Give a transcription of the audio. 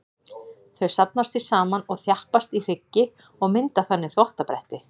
Þau safnast því saman og þjappast í hryggi og mynda þannig þvottabretti.